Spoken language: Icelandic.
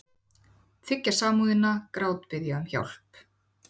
Þiggja samúðina, grátbiðja um hjálp.